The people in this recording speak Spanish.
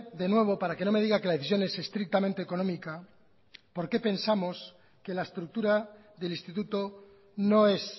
de nuevo para que no me diga que la decisión es estrictamente económica por qué pensamos que la estructura del instituto no es